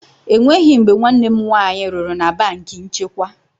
Enweghị mgbe nwanne m nwaanyị rụrụ na banki nchekwa.